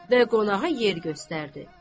Və qonağa yer göstərdi.